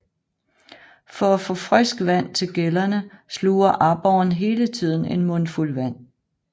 For at få frisk vand til gællerne sluger aborren hele tiden en mundfuld vand